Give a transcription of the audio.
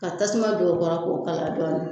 Ka tasuma don o kɔrɔ k'o kalaya dɔɔni.